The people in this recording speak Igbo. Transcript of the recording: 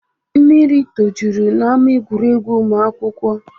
Mmiri tojuru n'ama egwuregwu ụmụ akwụkwọ